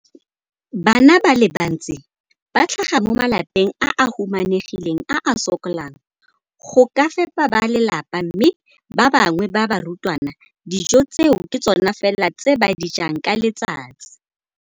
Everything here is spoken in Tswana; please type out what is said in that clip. Bana ba le bantsi ba tlhaga mo malapeng a a humanegileng a a sokolang go ka fepa ba lelapa mme ba bangwe ba barutwana, dijo tseo ke tsona fela tse ba di jang ka letsatsi.